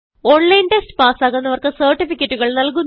online test പാസ്സാകുന്നവർക്ക് സർട്ടിഫികറ്റുകൾ നല്കുന്നു